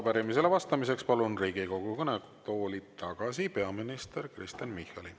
Arupärimisele vastamiseks palun Riigikogu kõnetooli tagasi peaminister Kristen Michali.